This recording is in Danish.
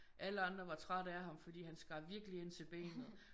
Alle andre var trætte af ham fordi han skar virkelig ind til benet